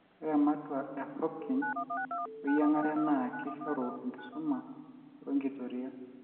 ore ematua e Hopkin we yiangare naa keishoru enkisuma oo enkitoria